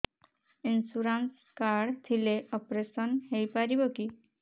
insurance card ଥିଲେ operation ହେଇପାରିବ କି